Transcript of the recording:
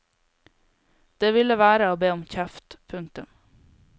Det ville være å be om kjeft. punktum